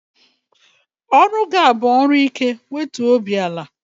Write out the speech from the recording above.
Ọrụ gị a bụ ọrụ ike, wetuo obi ala!